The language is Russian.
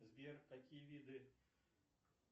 сбер какие виды